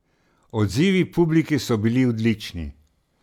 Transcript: Odzivi publike so bili odlični.